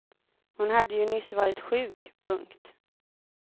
Hon hade ju nyss varit sjuk. punkt